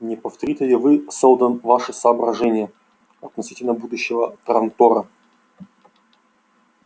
не повторите ли вы сэлдон ваши соображения относительно будущего трантора